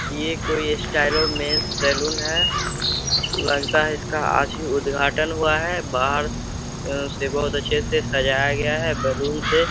ये कोई Stylo men's salon है। लगता है इसका आज ही उद्घाटन हुआ है। बाहर से बोहोत अच्छे से सजाया गया है बैलून से।